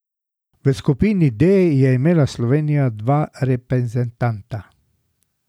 V skupini D je imela Slovenija dva reprezentanta.